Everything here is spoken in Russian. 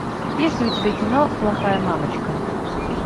есть ли у тебя кино плохая мамочка